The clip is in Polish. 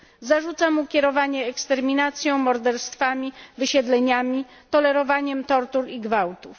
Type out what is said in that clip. Zarzuca mu kierowanie eksterminacją, morderstwami, wysiedleniami, tolerowanie tortur i gwałtów.